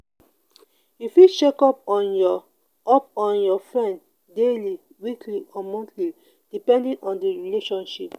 you fit check up on your up on your friend daily weekly or monthly depending on di relationship